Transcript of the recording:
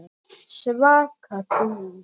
Svaka dúllur!